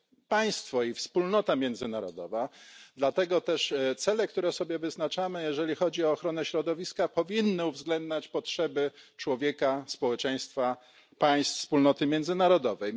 państwo i wspólnota międzynarodowa, dlatego też cele, które sobie wyznaczamy, jeżeli chodzi o ochronę środowiska, powinny uwzględniać potrzeby człowieka, społeczeństwa, państw wspólnoty międzynarodowej.